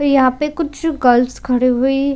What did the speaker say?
और यहाँ पे कुछ गर्ल्स खड़े हुए दिखाई दे रही हैं ।